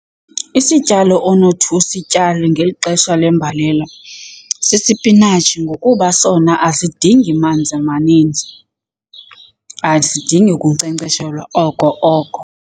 Isityalo onothi usityale ngeli xesha lembalela sisipinatshi ngokuba sona asidingi manzi maninzi, asidingi kunkcenkceshelwa oko oko.